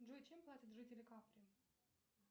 джой чем платят жители капри